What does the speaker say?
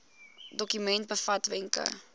dokument bevat wenke